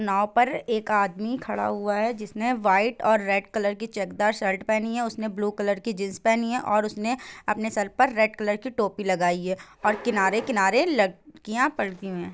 नाव पर एक आदमी खड़ा हुआ है जिसने व्हाइट और रेड कलर की चेकदार शर्ट पहनी है उसने ब्लू कलर की जीन्स पहनी है और उसने अपने सर पर रेड कलर की टोपी लगाई है और किनारे-किनारे लकड़ियां --